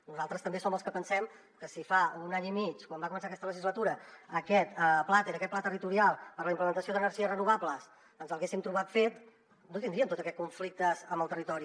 nosaltres també som els que pensem que si fa un any i mig quan va començar aquesta legislatura aquest plater aquest pla territorial per a la implantació d’energies renovables ens l’haguéssim trobat fet no tindríem tots aquests conflictes amb el territori